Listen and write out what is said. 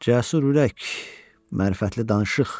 Cəsur ürək, mərifətli danışıq.